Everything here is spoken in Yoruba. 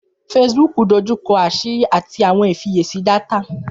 Facebook dójúkọ̀ àṣìrí ati awọn ìfíyèsí dátà.